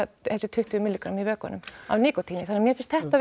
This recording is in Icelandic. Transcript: þessi tuttugu mg í vökvanum af nikótíni þannig að mér finnst þetta